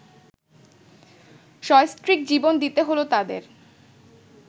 সস্ত্রীক জীবন দিতে হলো তাদের